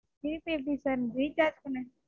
திருப்பி எப்படி Sir recharge பண்ண,